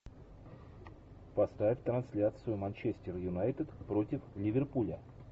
поставь трансляцию манчестер юнайтед против ливерпуля